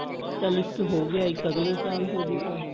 ਚਲ ਇੱਕ ਹੋ ਗਿਆ ਇੱਕ ਅਗਲੇ ਸਾਲ ਹੋਜੂਗਾ